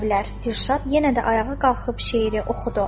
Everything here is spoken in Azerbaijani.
Dilşad yenə də ayağa qalxıb şeiri oxudu.